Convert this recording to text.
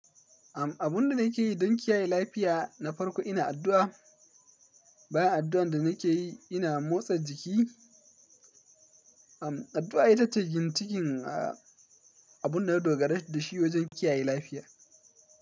Am, abun da nake yi don kiyaye lafiya na farko ina addu'a. Bayan addu'an da nake yi, ina motsa jiki. Am, addu'a ita ce gin cikin, a, abun na dogara da shi wajen kiyaye lafiya.